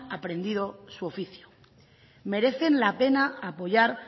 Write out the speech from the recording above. aprendido su oficio merecen la pena apoyar